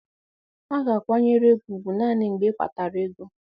A ga-akwanyere gị ugwu naanị mgbe ịkpatara ego.